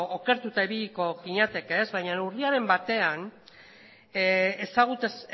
okertuta ibiliko ginateke baina urriaren batean